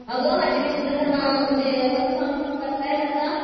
अगं माझे mister work from home करतायेत आता